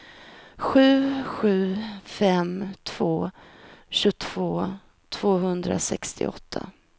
sju sju fem två tjugotvå tvåhundrasextioåtta